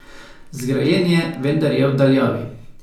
Zgrajen je, vendar je v daljavi.